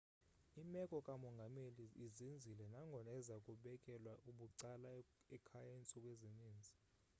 imeko kamongameli izinzile nangona eza kubekelwa bucala ekhaya iintsuku ezininzi